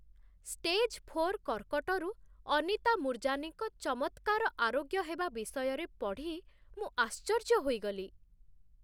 Stage four କର୍କଟରୁ ଅନିତା ମୂର୍ଜାନୀଙ୍କ ଚମତ୍କାର ଆରୋଗ୍ୟ ହେବା ବିଷୟରେ ପଢ଼ି ମୁଁ ଆଶ୍ଚର୍ଯ୍ୟ ହୋଇଗଲି।